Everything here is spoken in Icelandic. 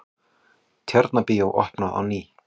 Tjarnarbíó opnað á ný